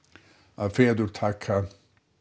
að feður taka